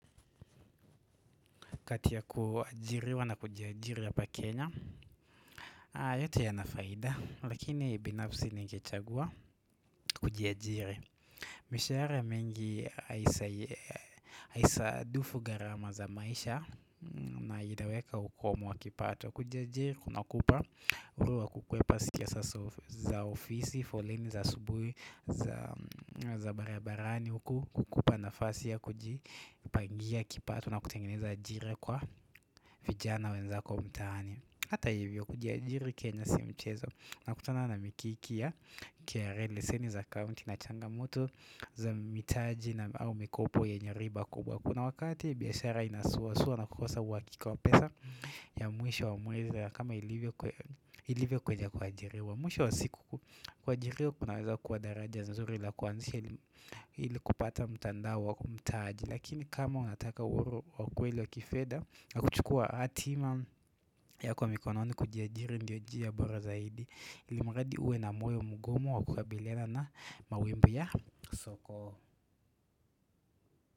Kati ya kuajiriwa na kujiajiri hapa Kenya. A yote yana faida. Lakini ibinafsi ningechagua kujiajiri. Mishahara mengi ya haisai haisa dufu gharama za maisha, m na hitaweka ukomu wa kipato. Kujiajiri kunakupa, uhuru wa kukwepa sikiasa sof za ofisi foleni za subuhi, zaa mh za barabarani huku kukupa nafasi ya kuji pangia kipato na kutengeneza ajiri kwa vijana wenzako mtaani. Hata hivyo kujiajiri Kenya sio mchezo. Nakutana na mikikia, kra leseni za kaunti na changamoto za mitaji na au mikopo yenye riba kubwa Kuna wakati biashara inasuwasuwa na kukosa uhakika wa pesa, ya mwisho wa mwezi kama ilivyo kwe ilivyo kweja kuajiriwa Mwisho wa siku ku kuajiriwa kunaweza kuwa daraja za zuri la kuanzisha elim ili kupata mtandao wa kumtaaji. Lakini kama unataka uoro wa kweli wa kifedha, nakuchukua hatima yako mikononi kujiajiri ndio jia bora zaidi, ilimuradi uwe na moyo mugumu wa kukabiliana na, mawimbi ya soko.